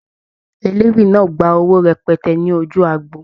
Eléwì náà gba owó rẹpẹtẹ ní ojú agbo.